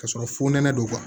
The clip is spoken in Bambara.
Ka sɔrɔ fo nɛnɛ don